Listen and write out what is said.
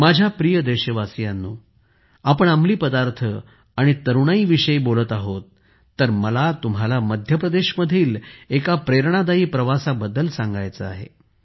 माझ्या प्रिय देशवासियांनो आपण अंमली पदार्थ आणि तरुणाईच्या विषयी बोलत आहोत तर मला तुम्हाला मध्य प्रदेशमधील एका प्रेरणादायी प्रवासाबद्दल सांगायचे आहे